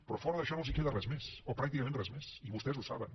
però fora d’això no els queda res més o pràcticament res més i vostès ho saben